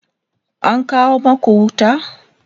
an kawo maku wuta?